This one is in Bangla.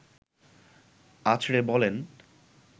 আঁচড়ে বলেন